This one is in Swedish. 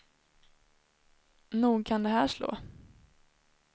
Nog kan det här slå.